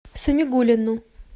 самигуллину